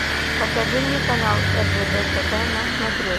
покажи мне канал ржд тв на смотрешке